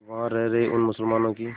वहां रह रहे उन मुसलमानों की